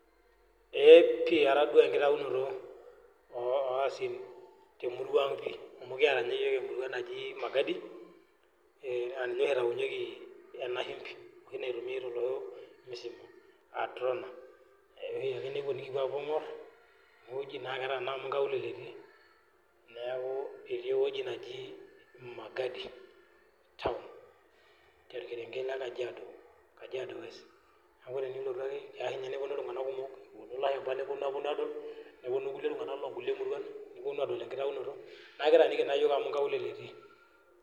Eeepi atadua enkitayinoto oasin temuruang pii. Amu kiata ninye iyook emurua naji magadi naa ninye oshi eitayunyieki ena shumbi oshi naitumiyai tolosho musima aa trona. Eya ohiake nikipuo nikupo aingor naa ketaa taa amuu inkaulele tii, niaku etii ewueji naji magadi town torkerenket le Kajiado, Kajiado West niaku tenilotu ake keya ninye neponu iltunganak kumok, eponu ilashumba neponu aadol. Nepunu iltunganak loo nkulie murua neponu aadol enkitayunoto naa ekitaaniki naa iyoook amuu inkaulele etii